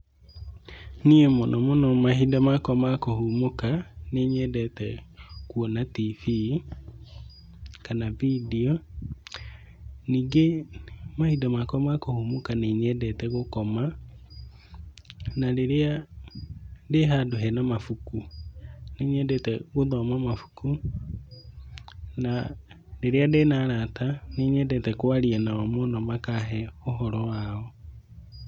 Niĩ mũnomũno mahinda makwa ma kũhurũka nĩnyendete kuona tibii kana video. Nyingĩ mahinda makwa ma kũhumũka nĩnyendete gũkoma na rĩrĩa ndĩhandũ hena mabuku, nĩnyendete gũthoma mabuku. Na rĩrĩa ndĩna arata nĩnyendete kwaria nao mũno makahe ũhoro wao.